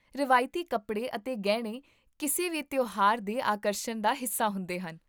ਰਵਾਇਤੀ ਕੱਪੜੇ ਅਤੇ ਗਹਿਣੇ ਕਿਸੇ ਵੀ ਤਿਉਹਾਰ ਦੇ ਆਕਰਸ਼ਣ ਦਾ ਹਿੱਸਾ ਹੁੰਦੇ ਹਨ